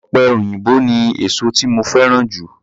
Ọ̀pẹ òyìnbó ni èsó tí mo fẹ́ràn jù.